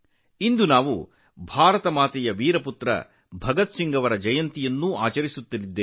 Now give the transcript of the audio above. ಈ ದಿನ ನಾವು ಭಾರತಮಾತೆಯ ವೀರ ಪುತ್ರ ಭಗತ್ ಸಿಂಗ್ ಅವರ ಜಯಂತಿಯನ್ನು ಆಚರಿಸುತ್ತೇವೆ